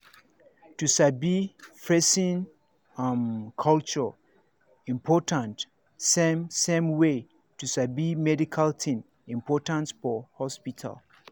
to sabi person um culture important same same way to sabi medical thing important for hospital